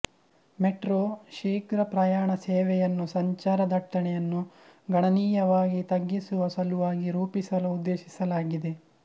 metro ಶೀಘ್ರ ಪ್ರಯಾಣ ಸೇವೆಯನ್ನು ಸಂಚಾರ ದಟ್ಟಣೆಯನ್ನು ಗಣನೀಯವಾಗಿ ತಗ್ಗಿಸುವ ಸಲುವಾಗಿ ರೂಪಿಸಲು ಉದ್ದೇಶಿಸಲಾಗಿದೆ